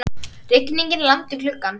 Rigningin lamdi gluggann.